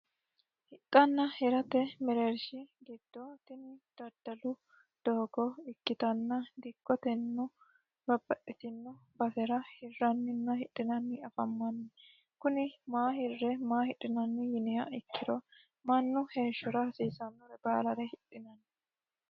Hidhanna hirate mereersha gido tinne dadalu doogo ikitanna dikkotennino babaxitino basera hiranninna afammanni kunni maa hire maa hidhinnanni yinniha ikiro Manu heeshora hasiisanore baalare hidhinnanni.